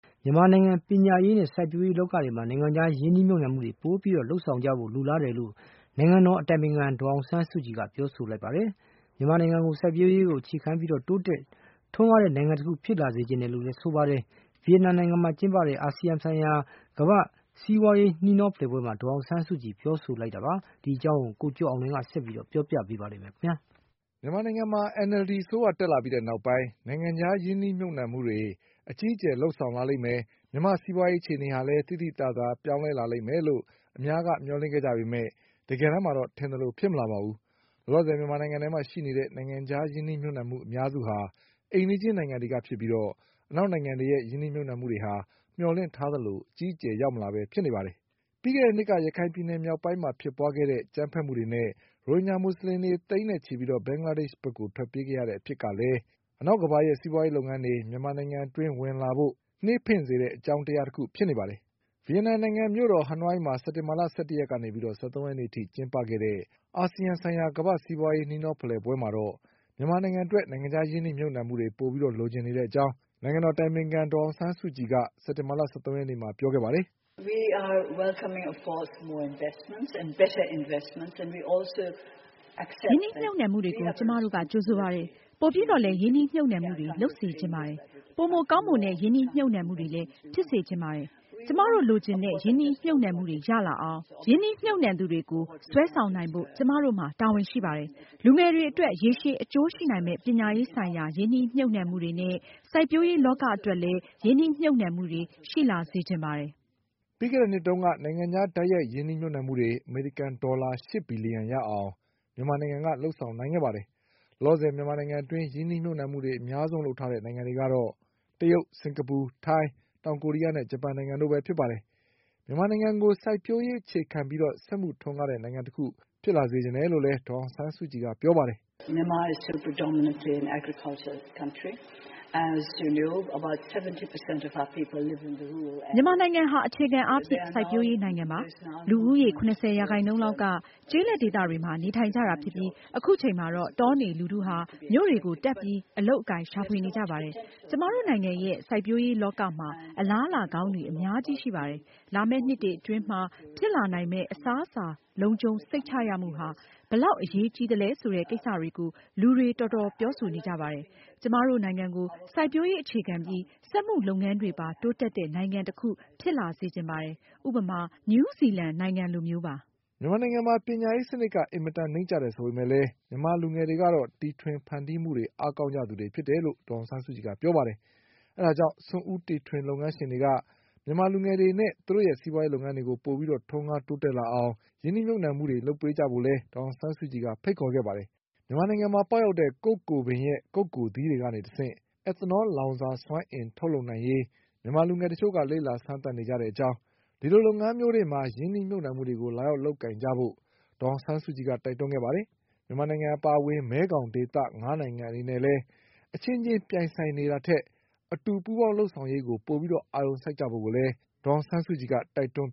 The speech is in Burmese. မြန်မာနိုင်ငံရဲ့ပညာရေးနဲ့စိုက်ပျိုးရေးလောကတွေမှာ နိုင်ငံခြားရင်းနှီးမြှုပ်နှံမှုတွေပိုပြီးလုပ်ဆောင်ကြဖို့လိုလားတယ်လို့ နိုင်ငံတော်အတိုင်ပင်ခံ ဒေါ်အောင်ဆန်းစုကြည် ကပြောလိုက်ပါတယ်။ မြန်မာနိုင်ငံကို စိုက်ပျိုးရေးအခြေခံပြီး တိုးတက် ထွန်းကားတဲ့ နိုင်ငံတခုဖြစ်လာစေချင်တယ်လို့လည်းဆိုပါတယ်။ ဗီယက်နမ်နိုင်ငံမှာကျင်းပတဲ့ အာဆီယံဆိုင်ရာ ကမ္ဘာ့စီး ပွါးရေးနှီးနှော ဖလှယ်ပွဲမှာ ဒေါ်အောင်ဆန်းစုကြည်ပြောဆိုခဲ့တာပါ။ ဒီအကြောင်း ကိုကျော်အောင်လွင်က ဆက်ပြီးပြောပြ ပါလိမ့်မယ်။ မြန်မာနိုင်ငံမှာ NLD အစိုးရတက်လာပြီးနောက်ပိုင်း နိုင်ငံခြားရင်းနှီးမြှုပ်နှံမှုတွေ အကြီးအကျယ်လုပ်ဆောင် လာလိမ့်မယ်၊ မြန်မာ့စီးပွါးရေးအခြေအနေလည်း သိသိသာသာပြောင်းလဲလာလိမ့်မယ်လို့ အများက မျှော်လင့်ခဲ့ကြပေမဲ့ တကယ်တမ်း မှာတော့ ထင်သလိုဖြစ်မလာပါဘူး။ လောလောဆယ် မြန်မာနိုင်ငံထဲမှာရှိနေတဲ့ နိုင်ငံခြားရင်းနှီးမြှုပ်နှံမှု အများစုဟာ အိမ်နီး ချင်းနိုင်ငံတွေကဖြစ်ပြီး အနောက်နိုင်ငံတွေရဲ့ နိုင်ငံခြားရင်းနှီးမြှုပ်နှံမှုတွေက မျှော်လင့်ထားသလို အကြီးအကျယ်ရောက်မလာပဲဖြစ် နေပါတယ်။ ပြီးခဲ့တဲ့နှစ်က ရခိုင်ပြည်နယ်မြောက်ပိုင်းမှာ ဖြစ်ပွါးခဲ့တဲ့ အကြမ်းဖက်မှုတွေနဲ့ ရိုဟင်ဂျာ မူဆလင်တွေ သိန်းနဲ့ ချီပြီး ဘင်္ဂလားဒေ့ရှ် ဘက်ထွက်ပြေးခဲ့ရတဲ့ အဖြစ်ကလည်း အနောက်ကမ္ဘာရဲ့စီးပွားရေးလုပ်ငန်းတွေ မြန်မာနိုင်ငံအတွင်း ဝင်လာဖို့ နှေးစေတဲ့အကြောင်းတရားတခုဖြစ်နေပါတယ်။ ဗီယက်နမ်နိုင်ငံရဲ့မြို့တော် ဟနွိုင်းမှာ စက်တင်ဘာ ၁၁ရက်နေ့ ကနေ ၁၃ရက်နေ့အထိကျင်းပခဲ့တဲ့ အာဆီယံဆိုင်ရာ ကမ္ဘာ့ စီးပွါးရေးနှီးနှောဖလှယ်ပွဲမှာတော့ မြန်မာနိုင်ငံအတွက် နိုင်ငံခြားရင်းနှီးမြုပ်နှံမှုတွေပိုပြီး လိုချင်တဲ့အကြောင်း နိုင်ငံတော်အတိုင်ပင်ခံ ဒေါ်အောင် ဆန်းစုကြည်က စက်တင်ဘာ၁၃ ရက်နေ့မှာပြောခဲ့ပါတယ်။ " ရင်းနှီးမြှုပ်နှံမှု တွေကို ကျမတို့က ကြိုဆိုပါတယ်။ ပိုပြီးတော့လည်းရင်းနှီမြှုပ်နှံမှုတွေလုပ်စေချင်ပါတယ်။ ပိုမိုကောင်းမွန် တဲ့ရင်းနှီးမြှုပ်နှံမှုတွေလည်း ဖြစ်စေချင်ပါတယ်။ ကျမတို့လိုချင်တဲ့ရင်းနှီးမြှုပ်နှံမှုတွေရလာအောင် ရင်းနှီးမြှပ်နှံသူတွေကိုစွဲ ဆောင်နိုင်ဖို့ ကျမတို့မှာတာဝန်ရှိပါတယ်။ လူငယ်တွေအတွက်ရေရှည်အကျိုးရှိနိုင်မယ့် ပညာရေးဆိုင်ရာရင်းနှီးမြှုပ်နှံမှုတွေ နဲ့ စိုက်ပျိုးရေးလောကအတွက်လည်း ရင်းနှီးမြှပ်နှံမှုတွေရှိလာစေချင်ပါတယ်။" ပြီးခဲ့တဲ့နှစ်တုန်းက နိုင်ငံခြားတိုက်ရိုက် ရင်းနှီးမြှုပ်နှံမှုတွေ အမေရိကန်ဒေါ်လာ ရှစ်ဘီလျှံရအောင် မြန်မာနိုင်ငံကလုပ် ဆောင်နိုင်ခဲ့ပါတယ်။ လောလောဆယ်မြန်မာနိုင်ငံအတွင်း ရင်းနှီးမြှပ်မှုတွေ အများဆုံးလုပ်ထားတဲ့နိုင်ငံတွေကတော့ တရုတ်၊ စင်္ကာပူ၊ ထိုင်း၊ တောင်ကိုရီးယားနဲ့ ဂျပန်နိုင်ငံတွေပဲဖြစ်ပါတယ်။ မြန်မာနိုင်ငံကို စိုက်ပျိုးရေးအခြေခံပြီး စက်မှု ထွန်းကားတဲ့နိုင်ငံတခုဖြစ်လာစေချင်တဲ့လို့လည်း ဒေါ်အောင်ဆန်းစုကြည်ကပြောပါတယ်။ "မြန်မာနိုင်ငံဟာ အခြေခံအားဖြင့် စိုက်ပျိုးရေးနိုင်ငံပါ။ လူဦးရေး ၇၀ရာခိုင်နှုန်းလောက်က ကျေးလက်ဒေသတွေမှာ နေထိုင် ကြတာဖြစ်ပြီး အခုချိန်မှာတော့ တောနေလူထုဟာ မြို့တွေကိုတက်ပြီးအလုပ်အကိုင်ရှာဖွေနေကြပါတယ်။ ကျမတို့နိုင်ငံရဲ့ စိုက်ပျိုးရေးလောကမှာ အလားအလာကောင်းတွေ အများကြီးရှိပါတယ်။ လာမယ့်နှစ်တွေအတွင်းမှာဖြစ်လာနိုင်မယ့် အစား အစာလုံခြုံစိတ်ချရမှုဟာ ဘယ်လောက်အရေးကြီးသလဲဆိုတဲ့ကိစ္စတွေကို လူတွေတော်တော်ပြောဆိုနေကြပါတယ်။ ကျမ တို့နိုင်ငံကို စိုက်ပျိုးရေးအခြေခံပြီး စက်မှုလုပ်ငန်းတွေပါတိုးတက်တဲ့နိုင်ငံတခုဖြစ်လာစေချင်ပါတယ်။ ဥပမာ နယူးဇီလန်နိုင် ငံလိုမျိုးပါ။" မြန်မာနိုင်ငံမှာ ပညာရေးစနစ်က အင်မတန်နိမ့်ကျတယ်ဆိုပေမဲ့လည်း မြန်မာလူငယ်တွေကတော့ တီတွင်ဖန်တီးမှုအား ကောင်းသူတွေဖြစ်ကြတယ်လို့လည်း ဒေါ်အောင်ဆန်းစုကြည်ကပြောပါတယ်။ အဲဒါကြောင့် စွန့်ဦးတည်ထွင်လုပ်ငန်း ရှင်တွေက မြန်မာလူငယ်တွေနဲ့ သူတို့ရဲ့ စီးပွါးရေးလုပ်ငန်းတွေပိုပြီးတိုးတက်ထွန်းကားလာအောင် ရင်းနှီးမြှုပ်နှံမှုတွေလုပ် ပေးကြဖို့လည်း ဒေါ်အောင်ဆန်းစုကြည်က ဖိတ်ခေါ်ခဲ့ပါတယ်။ မြန်မာနိုင်ငံမှာပေါက်တဲ့ ကုက္ကိုပင်ရဲ့ ကုက္ကိုသီးတွေကနေ တဆင့် Ethanol လောင်စာစွမ်းအင်ထုတ်လုပ်နိုင်ရေး မြန်မာလူငယ်တချို့လေ့လာစမ်းသပ်နေကြတဲ့အကြောင်း ဒီလိုလုပ်ငန်းမျိုးတွေမှာ ရင်းနှီးမြှုပ်နှံမှုတွေလာရောက်လုပ်ကိုင်ကြဖို့ ဒေါ်အောင်ဆန်းစုကြည်က တိုက်တွန်းခဲ့ပါတယ်။ မြန်မာနိုင်ငံ အပါအဝင် မဲခေါင်ဒေသ ငါးနိုင်ငံအနေနဲ့လည်း အချင်းချင်းပြိုင်ဆိုင်နေတာထက် အတူပူးပေါင်းလုပ်ဆောင်ရေးကို အာရုံပို စိုက်ကြဖို့ကိုလည်း ဒေါ်အောင်ဆန်းစုကြည်ကတိုက်တွန်း